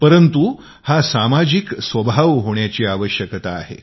परंतु हा सामाजिक स्वभाव होण्याची आवश्यकता आहे